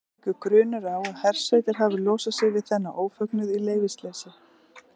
Leikur grunur á að hersveitir hafi losað sig við þennan ófögnuð í leyfisleysi.